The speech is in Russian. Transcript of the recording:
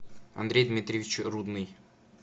андрей дмитриевич рудный